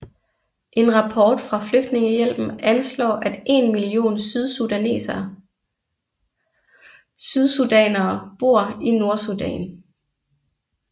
En rapport fra Flygtningehjælpen anslår at én million sydsudanere bor i Nordsudan